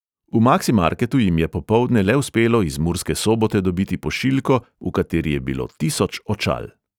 V maksimarketu jim je popoldne le uspelo iz murske sobote dobiti pošiljko, v kateri je bilo tisoč očal.